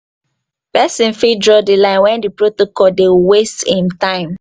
persin fit draw di line when the protocol de waste im time